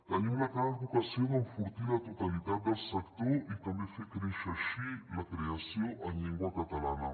tenim la clara vocació d’enfortir la totalitat del sector i també fer créixer així la creació en llengua catalana